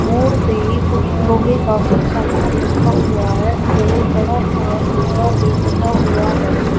मोड़ पर ही कुछ लोहे का कुछ सामान रखा हुआ है और बड़ा सा खंभा भी लगा हुआ है।